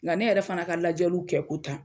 Nga ne yɛrɛ fana ka lajɛliw kɛ ko tan